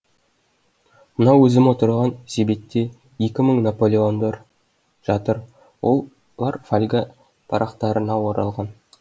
мына өзім отырған себетте екі мың наполеондар жатыр олар фольга парақтарына оралған